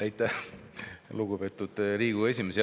Aitäh, lugupeetud Riigikogu esimees!